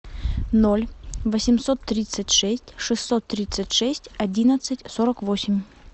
ноль восемьсот тридцать шесть шестьсот тридцать шесть одиннадцать сорок восемь